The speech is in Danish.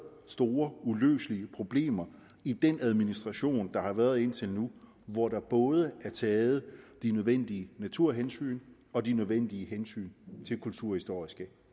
store uløselige problemer i den administration der har været indtil nu hvor der både er taget de nødvendige naturhensyn og de nødvendige hensyn til kulturhistoriske